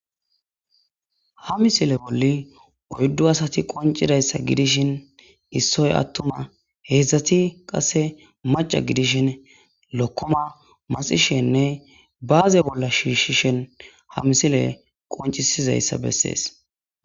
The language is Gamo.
ha misile bolli oyddu asati qoncidayssa gidishin issoy attuma heedzdzati qasse maca gidishin lokkoma masishenne baaze bolla shiishshishen ha misile qoncisizayssa bessees